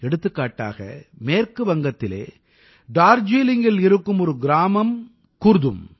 எடுத்துக்காட்டாக மேற்கு வங்கத்தில் டார்ஜீலிங்கில் இருக்கும் ஒரு கிராமம் குர்தும்